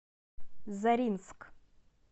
заринск